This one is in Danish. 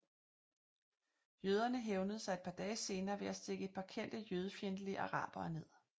Jøderne hævnede sig et par dage senere ved at stikke et par kendte jødefjendtlige arabere ned